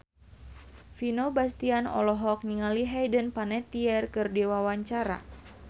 Vino Bastian olohok ningali Hayden Panettiere keur diwawancara